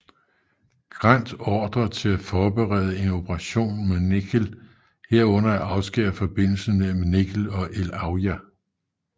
Grant ordre til at forberede en operation mod Nekhel herunder at afskære forbindelsen mellem Nekhel og el Auja